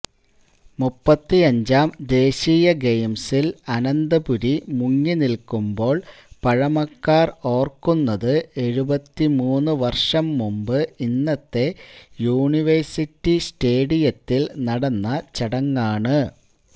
മുപ്പത്തിയഞ്ചാം ദേശീയ ഗെയിംസില് അനന്തപുരി മുങ്ങിനില്ക്കുമ്പോള് പഴമക്കാര് ഓര്ക്കുന്നത് എഴുപത്തിമൂന്ന് വര്ഷംമുമ്പ് ഇന്നത്തെ യൂണിവേഴ്സിറ്റി സ്റ്റേഡിയത്തില് നടന്ന ചടങ്ങാണ്